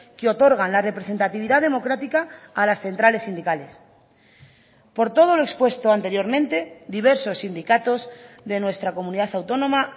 que otorgan la representatividad democrática a las centrales sindicales por todo lo expuesto anteriormente diversos sindicatos de nuestra comunidad autónoma